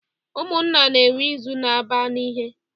Ụmụnna na-enwe izu na-aba n'ihe.